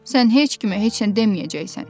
Sən heç kimə heç nə deməyəcəksən.